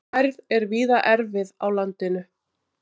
Færð er víða erfið á landinu